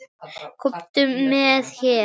Kominn með her!